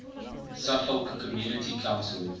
suffolk community council